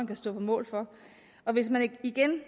kan stå på mål for og hvis man igen